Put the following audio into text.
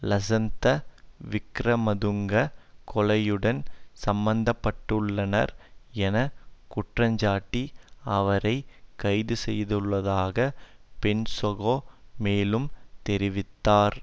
லசன்த விக்கிரமதுங்க கொலையுடன் சம்பந்தப்பட்டுள்ளார் என குற்றஞ்சாட்டி அவரை கைதுசெய்துள்ளதாக பொன்சேகா மேலும் தெரிவித்தார்